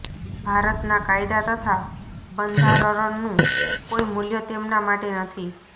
ભારતના કાયદા તથા બંધારરનું કોઈ મૂલ્ય તેમના માટે નથી